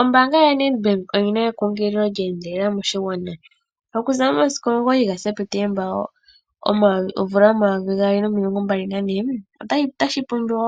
Ombaanga yaNdebank oyina ekunkililo lya endelela moshigwana. Oku za momasiku 9 Septemba 2024 otashi pumbiwa